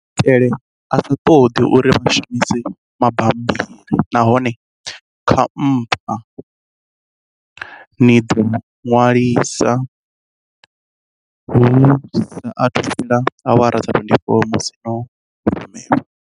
Ndi maitele a sa ṱoḓi uri vha shumise mabammbiri nahone khampha ni i ḓo ṅwaliswa hu sa athu fhela awara dza 24 musi yo rumelwa.